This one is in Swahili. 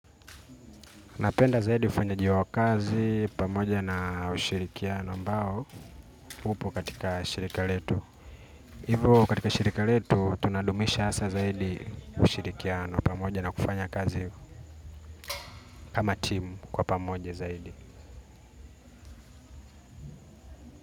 Napenda zaidi ufanyaji wa kazi pamoja na ushirikiano ambao hupo katika shirika letu. Hivo katika shirika letu tunadumisha hasa zaidi ushirikiano pamoja na kufanya kazi kama timu kwa pamoja zaidi.